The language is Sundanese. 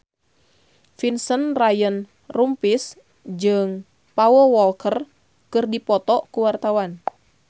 Vincent Ryan Rompies jeung Paul Walker keur dipoto ku wartawan